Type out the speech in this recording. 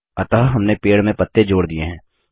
अतः हमने पेड़ में पत्ते जोड़ दिये हैं